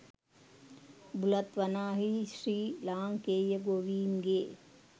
බුලත් වනාහී ශ්‍රී ලාංකේය ගෝවීන්ගේ